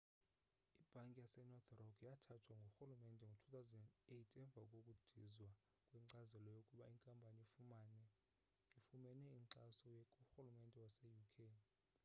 ibhanki yasenorth rock yathathwa ngurhulumente ngo-2008 emva kokudizwa kwenkcazelo yokuba inkampani ifumene inkxaso kurhulumente wase uk